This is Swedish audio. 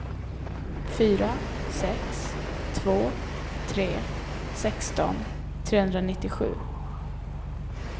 fyra sex två tre sexton trehundranittiosju